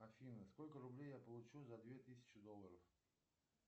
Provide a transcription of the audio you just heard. афина сколько рублей я получу за две тысячи долларов